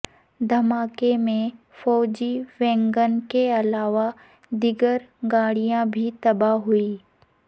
دھماکے میں فوجی ویگن کے علاوہ دیگر گاڑیاں بھی تباہ ہوئیں